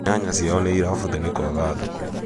nyanya ciao nĩirabutha nĩ kwaga thoko